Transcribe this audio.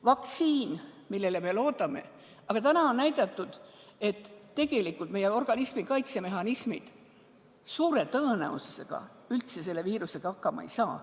Vaktsiin on see, millele me loodame, aga täna on näidatud, et tegelikult meie organismi kaitsemehhanismid suure tõenäosusega üldse selle viirusega hakkama ei saa.